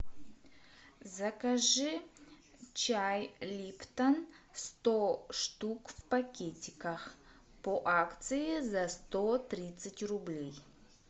закажи чай липтон сто штук в пакетиках по акции за сто тридцать рублей